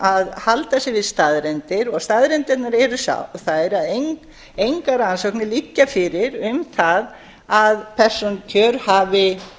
að halda sig við staðreyndir og staðreyndirnar eru þær að engar rannsóknir liggja fyrir um það að persónukjör hafi